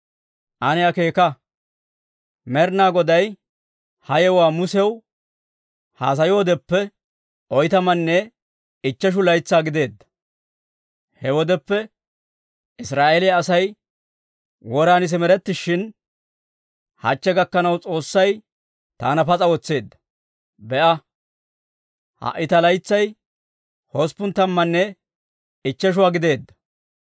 «Ane akeeka; Med'ina Goday ha yewuwaa Musew haasayoodeppe, oytamanne ichcheshu laytsaa gideedda. He wodeppe Israa'eeliyaa Asay woran simerettishin, hachche gakanaw S'oossay taana pas'a wotseedda. Be'a, ha"i ta laytsay hosppun tammanne ichchesha gideedda.